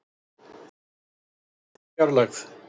Stýrir fluginu úr fjarlægð